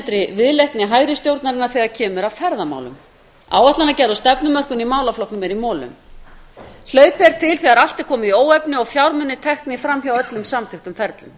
í fálmkennda viðleitni hægri stjórnarinnar þegar kemur að ferðamálum áætlanagerð og stefnumörkun í málaflokknum er í molum hlaupið er til þegar allt er komið í óefni og fjármunir teknir fram hjá öllum samþykktum ferlum